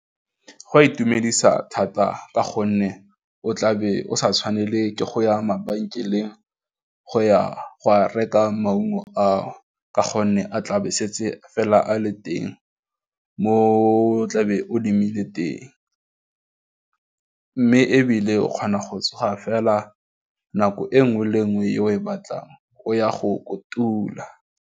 Go a itumedisa thata ka gonne o tlabe o sa tshwanela ke go ya mabenkeleng go ya go reka maungo a ka gonne a tlabe setse fela a le teng mo tlabeng o lemile teng, mme ebile o kgona go tsoga fela nako e nngwe le nngwe ye o e batlang o ya go kotula.